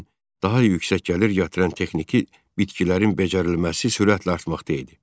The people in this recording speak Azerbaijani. Lakin daha yüksək gəlir gətirən texniki bitkilərin becərilməsi sürətlə artmaqda idi.